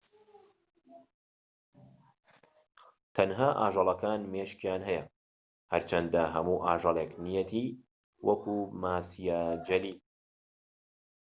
تەنها ئاژەڵەکان مێشكیان هەیە هەرچەندە هەموو ئاژەڵێك نیەتی وەکو ماسیە جەلی